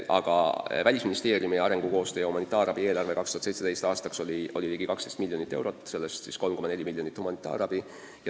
Aga Välisministeeriumi arengukoostöö ja humanitaarabi eelarve 2017. aastaks oli ligi 12 miljonit eurot, sellest 3,4 miljonit eraldati humanitaarabiks.